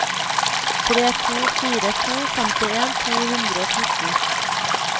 tre to fire to femtien to hundre og fjorten